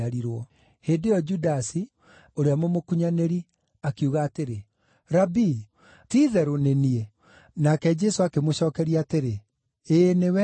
Hĩndĩ ĩyo Judasi, ũrĩa mũmũkunyanĩri, akiuga atĩrĩ, “Rabii, ti-itherũ nĩ niĩ?” Nake Jesũ akĩmũcookeria atĩrĩ, “Ĩĩ, nĩwe.”